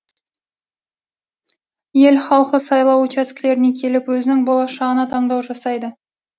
ел халқы сайлау учаскелеріне келіп өзінің болашағына таңдау жасайды